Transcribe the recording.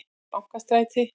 Bankastræti